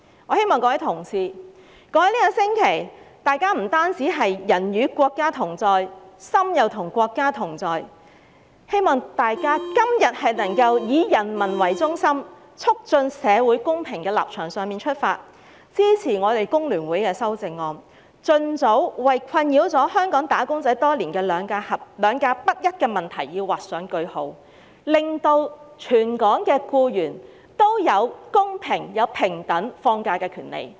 我希望各位同事在過去一星期"人與國家同在、心亦與國家同在"的同時，今天亦能從"以人民為中心，促進社會公平"的立場出發，支持我們工聯會的修正案，盡早為困擾香港"打工仔"多年的"兩假不一"問題劃上句號，令全港僱員都有公平、平等放假的權利。